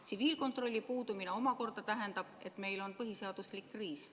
Tsiviilkontrolli puudumine omakorda tähendab, et meil on põhiseaduslik kriis.